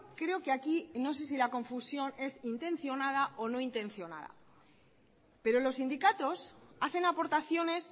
creo que aquí no sé si la confusión es intencionada o no intencionada pero los sindicatos hacen aportaciones